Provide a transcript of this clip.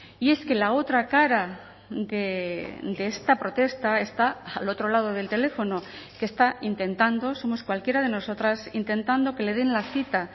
y es que la otra cara de esta protesta está al otro lado del teléfono que está intentando somos cualquiera de nosotras intentando que le den la cita